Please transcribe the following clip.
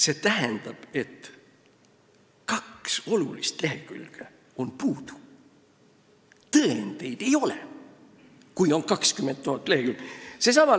" See tähendab, et kaks olulist lehekülge on puudu – tõendeid ei ole, kui toimikus on 20 000 lehekülge.